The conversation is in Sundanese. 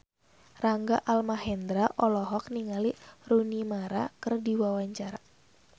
Rangga Almahendra olohok ningali Rooney Mara keur diwawancara